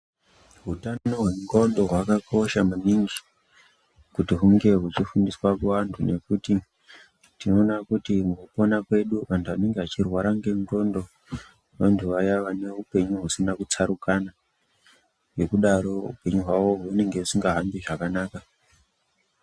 Hutano hendxondo hwakakosha maningi kuti hunge huchifundiswa kuvantu. Nekuti tinoona kuti mukupona kwedu vantu vanenge vachirwara ngendxondo vantu vaya vane upenyu husina kutsarukana. Ngekudaro hupenyu hwavo hunenge husinga hambi zvakanaka.